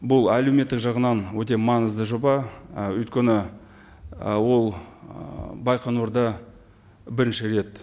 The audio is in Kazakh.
бұл әлеуметтік жағынан өте маңызды жоба і өйткені ы ол ы байқоңырда бірінші рет